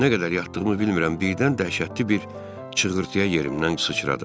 Nə qədər yatdığımı bilmirəm, birdən dəhşətli bir çığırtıya yerimdən sıçradım.